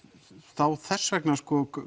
þá þess vegna